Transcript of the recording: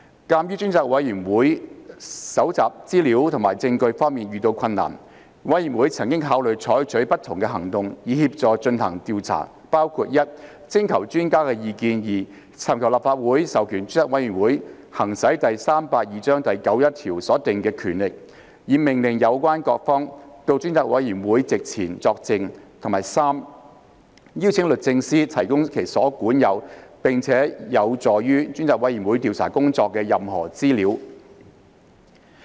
鑒於專責委員會在搜集資料和證據方面遇到困難，委員曾考慮採取不同行動，以協助進行調查，包括：第一，徵求專家意見；第二，尋求立法會授權專責委員會行使第382章第91條所訂的權力，以命令有關各方到專責委員會席前作證；及第三，邀請律政司提供其所管有並有助專責委員會調查工作的任何資料。